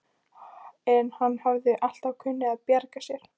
En hann hafði alltaf kunnað að bjarga sér.